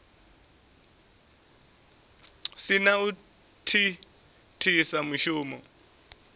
si na u thithisa mushumo